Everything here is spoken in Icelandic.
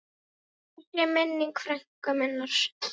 Blessuð sé minning frænku minnar.